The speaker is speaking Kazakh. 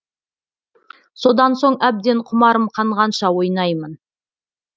содан соң әбден құмарым қанғанша ойнаймын